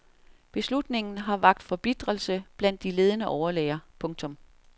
Beslutningen har vakt forbitrelse blandt de ledende overlæger. punktum